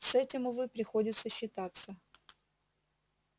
с этим увы приходится считаться